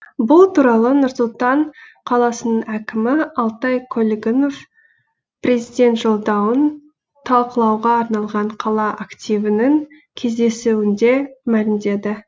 бұл туралы нұр сұлтан қаласының әкімі алтай көлгінов президент жолдауын талқылауға арналған қала активінің кездесуінде мәлімдеді